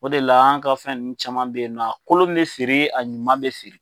O de la an ka fɛn nunnu caman be yen nɔ, a kolon bi feere a ɲuman bi feere